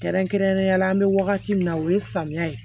Kɛrɛnkɛrɛnnenya la an bɛ wagati min na o ye samiya ye